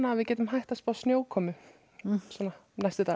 við getum hætt að spá snjókomu næstu daga